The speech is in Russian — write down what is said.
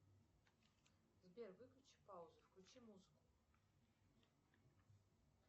сбер выключи паузу включи музыку